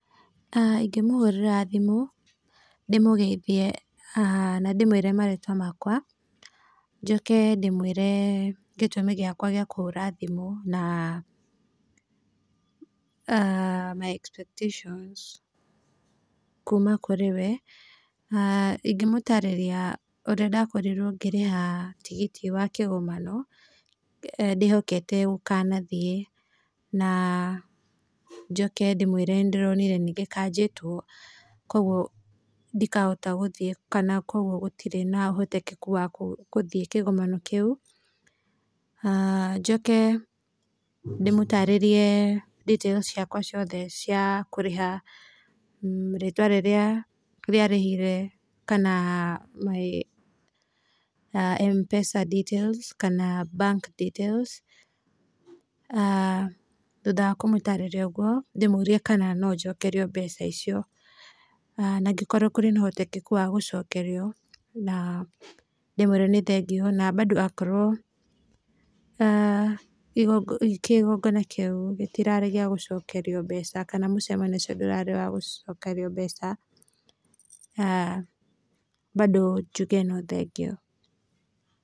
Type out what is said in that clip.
Ingĩmũhũrĩra thimũ ndĩmũgeithie na ndĩmwĩre marĩtwa makwa, njoke ndĩmwĩre gĩtũmi gĩakwa gĩa kũhũra thimũ na my expectations kuma kũrĩ we. Ingĩmũtarĩria ũrĩa ndakorirwo ngĩrĩha tigiti wa kĩgomano ndĩhokete gũkanathiĩ, na njoke ndĩmwĩre nĩndĩronire nĩgĩkanjĩtwo kuoguo ndikahota gũthiĩ kana kuoguo gũtirĩ na ũhotekekeku wa gũthiĩ kĩgomano kĩu, njoke ndĩmũtarĩrie details ciakwa ciothe cia kũrĩha rĩtwa rĩrĩa rĩa rĩhire kana my Mpesa details kana bank details, thutha wa kũmũtarĩria ũguo ndĩmũrie kana no njokerio mbeca icio, na angĩkorwo kũrĩ na ũhotekekeku wa gũcokerio ndĩmwĩre nĩ thengiũ na bado akorwo kĩgongona kĩu gĩtirarĩ gĩa gũcokerio mbeca kana mũcemanio ũcio ndũrarĩ wa gũcokerio mbeca bado njuge no thengiũ.